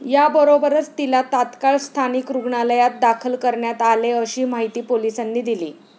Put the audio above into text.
याबरोबरच तिला तात्काळ स्थानिक रुग्णालयात दाखल करण्यात आले, अशी माहिती पोलिसांनी दिली.